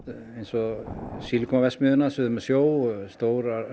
eins og Silicon verksmiðjuna suður með sjó og stórar